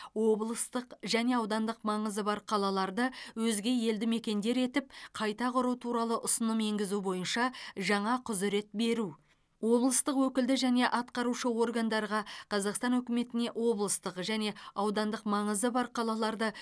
облыстық және аудандық маңызы бар қалаларды өзге елді мекендер етіп қайта құру туралы ұсыным енгізу бойынша жаңа құзырет беру облыстық өкілді және атқарушы органдарға қазақстан үкіметіне облыстық және аудандық маңызы бар қалаларды